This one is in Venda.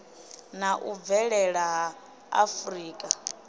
na u bvelela ha afurika